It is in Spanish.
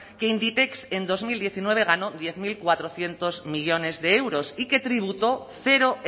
que inditex en dos mil diecinueve ganó diez mil cuatrocientos millónes de euros y que tributó cero